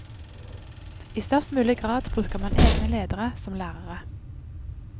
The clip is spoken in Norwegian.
I størst mulig grad bruker man egne ledere som lærere.